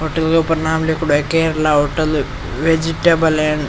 hotel के ऊपर नाम लिखेड़ो है करेला होटल वेजिटेबल और --